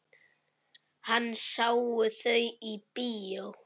Hann sá þau í bíó.